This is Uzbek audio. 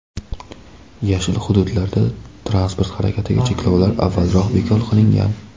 "Yashil" hududlarda transport harakatiga cheklovlar avvalroq bekor qilingan.